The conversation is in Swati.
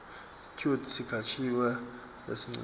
kute sikhatsi lesincunyiwe